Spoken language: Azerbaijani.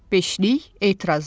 Beşlik etiraz etdi.